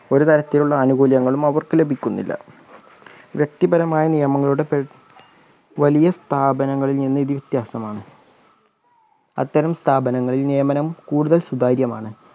ഒരു തരത്തിലുള്ള ആനുകൂല്യങ്ങളും അവർക്ക് ലഭിക്കുന്നില്ല വ്യക്തിപരമായ നിയമങ്ങളുടെ പരി വലിയ സ്ഥാപനങ്ങളിൽ നിന്ന് ഇത് വിത്യാസമാണ് അത്തരം സ്ഥാപനങ്ങളിൽ നിയമനം കൂടുതൽ സുതാര്യമാണ്